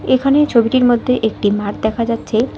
এখানে ছবিটির মধ্যে একটি মাঠ দেখা যাচ্ছে।